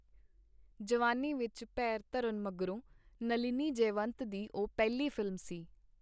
ਜਵਾਨੀ ਵਿਚ ਪੇਰ ਧਰਨ ਮਗਰੋਂ ਨਲਿਨੀ ਜੈਵੰਤ ਦੀ ਉਹ ਪਹਿਲੀ ਫ਼ਿਲਮ ਸੀ.